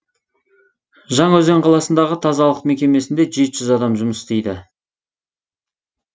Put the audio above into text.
жаңаөзен қаласындағы тазалық мекемесінде жеті жүз адам жұмыс істейді